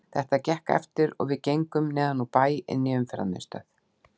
Þetta gekk eftir og við gengum neðan úr bæ inn í Umferðarmiðstöð.